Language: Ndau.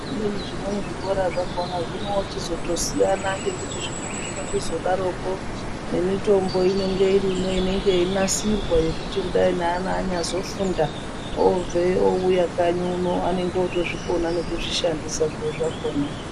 Zvimweni zvikora zvakhona zvinochitozosiyana ngekuti zvimweni zvinochizodaroko ngemitombo inenge irimo inenge yeinasirwa yekuti neana kudai anyazofunda ,obveyo, ouya kanyi uno anenge otokona nekuzvishandisa zviro zvakhona.